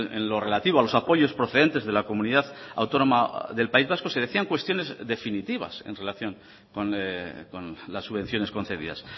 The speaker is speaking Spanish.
en lo relativo a los apoyos procedentes de la comunidad autónoma del país vasco se decían cuestiones definitivas en relación con las subvenciones concedidas